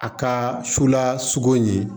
A ka sula sogo in ye